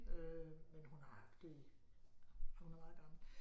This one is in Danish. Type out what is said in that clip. Øh men hun har haft det i hun er meget gammel